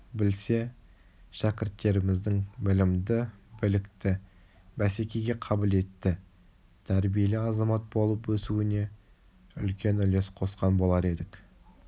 білсе шәкірттеріміздің білімді білікті бәсекеге қабілетті тәрбиелі азамат болып өсуіне үлкен үлес қосқан болар едік